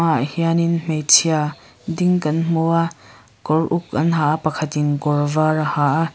tah hianin hmeichhia ding kan hmu a kawr uk an ha a pakhatin kawr vâr a ha a.